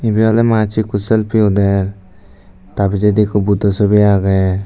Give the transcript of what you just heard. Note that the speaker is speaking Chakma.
ibey oley manuccho ikko selfie uder tar pijedi ikko Buddho sobi agey.